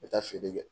N bɛ taa feere kɛ